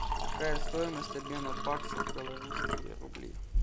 какая стоимость обмена баксов в белорусские рубли